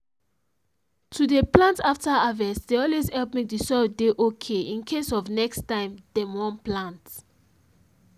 to dey plant after harvest dey always help make the soil dey okay in case of next time dem wan plant